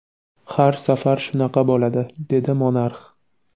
Har safar shunaqa bo‘ladi, dedi monarx.